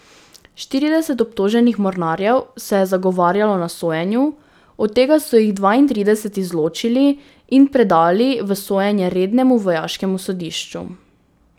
Štirideset obtoženih mornarjev se je zagovarjalo na sojenju, od tega so jih dvaintrideset izločili in predali v sojenje rednemu vojaškemu sodišču.